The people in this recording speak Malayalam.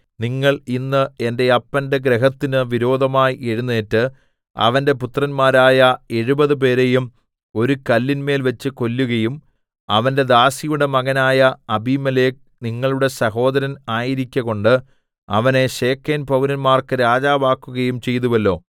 നിങ്ങൾ ഇന്ന് എന്റെ അപ്പന്റെ ഗൃഹത്തിന്നു വിരോധമായി എഴുന്നേറ്റ് അവന്റെ പുത്രന്മാരായ എഴുപത് പേരെയും ഒരു കല്ലിന്മേൽവെച്ച് കൊല്ലുകയും അവന്റെ ദാസിയുടെ മകനായ അബീമേലെക്ക് നിങ്ങളുടെ സഹോദരൻ ആയിരിക്കകൊണ്ട് അവനെ ശെഖേംപൌരന്മാർക്ക് രാജാവാക്കുകയും ചെയ്തുവല്ലോ